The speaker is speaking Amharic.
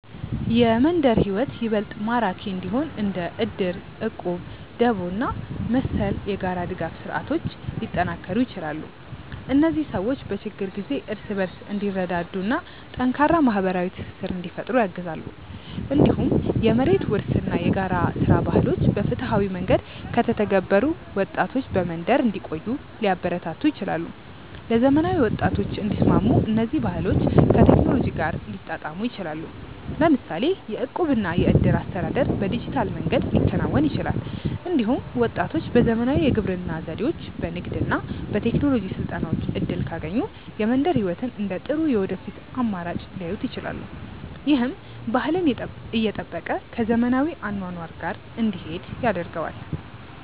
የመንደር ሕይወት ይበልጥ ማራኪ እንዲሆን እንደ እድር፣ እቁብ፣ ደቦ እና መሰል የጋራ ድጋፍ ስርዓቶች ሊጠናከሩ ይችላሉ። እነዚህ ሰዎች በችግር ጊዜ እርስ በርስ እንዲረዳዱ እና ጠንካራ ማህበራዊ ትስስር እንዲፈጥሩ ያግዛሉ። እንዲሁም የመሬት ውርስ እና የጋራ ሥራ ባህሎች በፍትሃዊ መንገድ ከተተገበሩ ወጣቶች በመንደር እንዲቆዩ ሊያበረታቱ ይችላሉ። ለዘመናዊ ወጣቶች እንዲስማሙ እነዚህ ባህሎች ከቴክኖሎጂ ጋር ሊጣጣሙ ይችላሉ። ለምሳሌ የእቁብ እና የእድር አስተዳደር በዲጂታል መንገድ ሊከናወን ይችላል። እንዲሁም ወጣቶች በዘመናዊ የግብርና ዘዴዎች፣ በንግድ እና በቴክኖሎጂ ስልጠናዎች እድል ካገኙ የመንደር ሕይወትን እንደ ጥሩ የወደፊት አማራጭ ሊያዩት ይችላሉ። ይህም ባህልን እየጠበቀ ከዘመናዊ አኗኗር ጋር እንዲሄድ ያደርገዋል።